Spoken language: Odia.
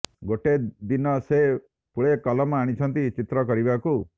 ଗୋଟେ ଦିନ ସେ ପୁଳେ କଲମ ଆଣିଛନ୍ତି ଚିତ୍ର କରିବାକୁ